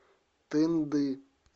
тынды